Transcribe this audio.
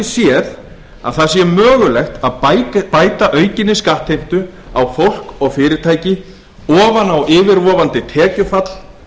séð að það sé mögulegt að bæta aukinni skattheimtu á fólk og fyrirtæki ofan á yfirvofandi tekjufall